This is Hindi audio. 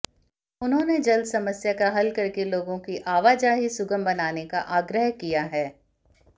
उन्होंने जल्द समस्या का हल करके लोगों की आवाजाही सुगम बनाने का आग्रह किया है